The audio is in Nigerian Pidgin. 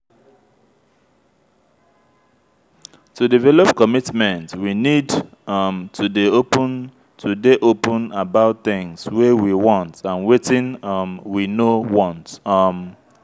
to develop commitment we need um to dey open to dey open about things wey we want and wetin um we no want um